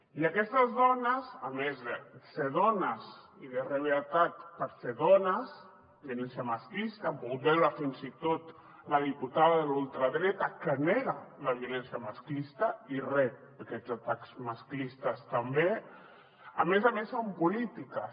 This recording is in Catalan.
i aquestes dones a més de ser dones i de rebre atac per ser dones violència masclista han pogut veure fins i tot la diputada de la ultradreta que nega la violència masclista i rep aquests atacs masclistes també a més a més són polítiques